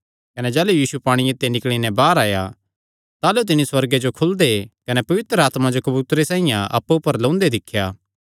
कने जाह़लू यीशु पांणिये ते निकल़ी नैं बाहर आया ताह़लू तिन्नी सुअर्गे जो खुलदे कने पवित्र आत्मा जो कबूतरे साइआं अप्पु ऊपर लौंदे दिख्या